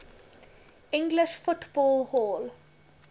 english football hall